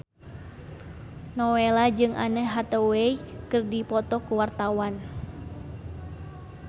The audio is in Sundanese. Nowela jeung Anne Hathaway keur dipoto ku wartawan